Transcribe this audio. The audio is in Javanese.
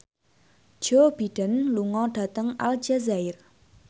Joe Biden lunga dhateng Aljazair